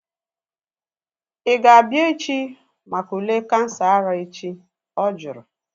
Ị ga-abịa echi maka ule kansa ara echi? She asked